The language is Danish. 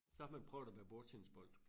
Så har man prøvet at være bordtennisbold